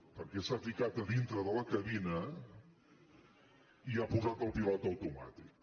perquè s’ha ficat a dintre de la cabina i ha posat el pilot automàtic